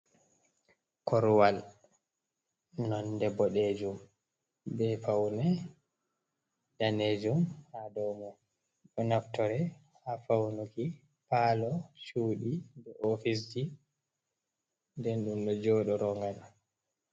Korwal, nonde boɗejum, be faune danejum, ha dou mai, ɗoo naftore ha faunuki palo, chuɗi bee ofisji, ɓee ɗoo joɗoro dou mai.